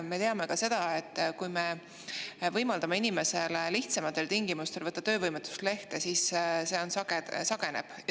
Me teame ka seda, et kui me võimaldame inimestel lihtsamatel tingimustel võtta töövõimetuslehte, siis selle sageneb.